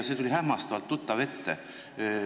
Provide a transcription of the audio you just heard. See tuli hämmastavalt tuttav ette.